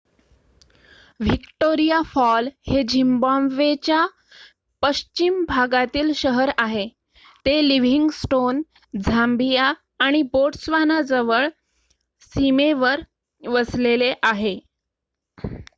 Victoria fall हे झिम्बाब्वेच्या पश्चिम भागातील शहर आहे ते लिव्हिंगस्टोन झाम्बिया आणि बोट्स्वानाजवळ सीमेवर वसलेले आहे